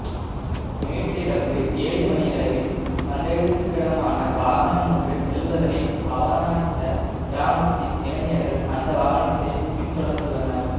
நேற்றிரவு ஏழு மணியளவில் சந்தேகத்திடமான வாகனம் ஒன்று செல்வதனை அவதானித்த கிராமத்தின் இளைஞர்கள் அந்த வாகனத்தை பின்தொடர்ந்துள்ளனர்